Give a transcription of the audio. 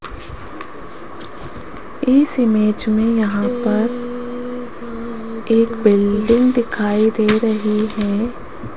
इस इमेज में यहां पर एक बिल्डिंग दिखाई दे रही है।